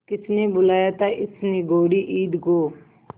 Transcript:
किसने बुलाया था इस निगौड़ी ईद को